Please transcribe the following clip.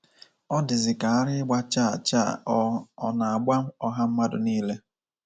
O dịzịka ara ịgba chaa chaa ọ̀ ọ̀ na-agba ọha mmadụ niile.